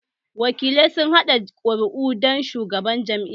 Wakilai sun kaɗa ƙuru'a ga shugabannin jam'iyun